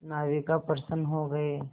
नाविक प्रसन्न हो गए